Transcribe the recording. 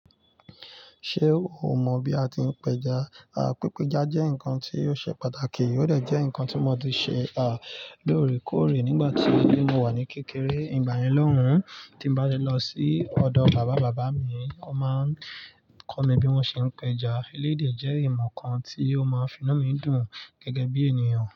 Ṣé o mọ̀ bí a ti ń pẹja? Pípéja jẹ́ nǹkan tí ó ṣe pàtàkì, ó dè jẹ́ ǹnkan tí mọ ti ṣe, lóòrèkóòrè nígbà tí mo wà ní kékeré. Ìgbà yen loun tí mbá le lọ sí ọ̀dọ̀ bábàbàbá mi, wọ́n máa ń kọ́ mi bí wọ́n ṣe ń pẹja. Eleyi dè jẹ́ ìmọ̀ kan tí ó máa ń fi inú mi dùn gẹ́gẹ́ bí ènìyàn.